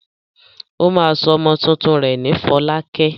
Ó máa sọ ọmọ tuntun rẹ̀ ní Fọlákẹ́.